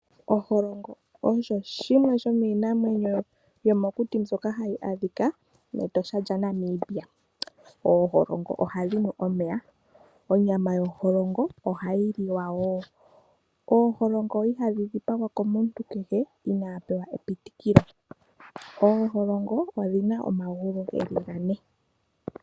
Oholongo odjo yimwe yominamwenyo yomokuti mbyoka hayi adhika metosha lyaNamibia. Ooholongo ohadhi nu omeya, onyama yo oholongo ohayi liwa, ooholongo ihadhi dhipagwa komuntu kehe ina mona epitikilo. Ooholongo odhina omagulu geli gane.